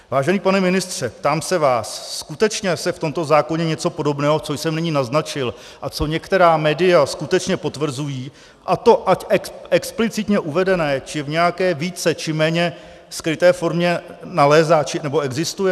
Vážený pane ministře, ptám se vás, skutečně se v tomto zákoně něco podobného, co jsem nyní naznačil a co některá média skutečně potvrzují, a to ať explicitně uvedené, či v nějaké více či méně skryté formě, nalézá nebo existuje?